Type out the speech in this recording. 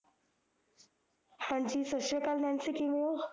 ਹਾਂ ਜੀ ਸਤਿ ਸ੍ਰੀ ਅਕਾਲ ਨੈਨਸੀ ਕਿਵੇਂ ਓ